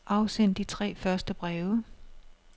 Afsend de tre første breve.